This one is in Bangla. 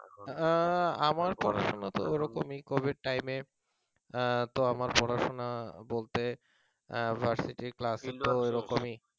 আমার পড়াশোনা তো ওরকমই covid time তো আমার পড়াশোনা বলতে ভার্সিটির ক্লাস